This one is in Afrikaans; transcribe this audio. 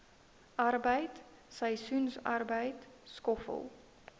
arbeid seisoensarbeid skoffel